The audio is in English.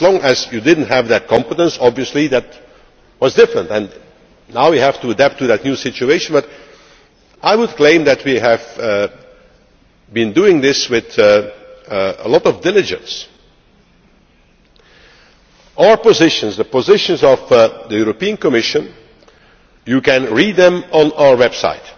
As long as you did not have that competence obviously that was different, and now we have to adapt to that new situation, but I would claim that we have been doing this with a lot of diligence. Our positions, the positions of the Commission, you can read them on our website.